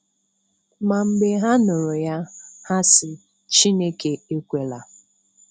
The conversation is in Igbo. Ma mgbe ha nụrụ ya, ha sị Chineke ekwela.